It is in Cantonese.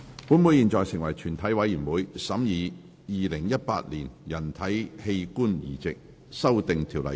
本會現在成為全體委員會，審議《2018年人體器官移植條例草案》。